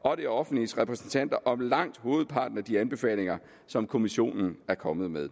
og det offentliges repræsentanter om langt hovedparten af de anbefalinger som kommissionen er kommet med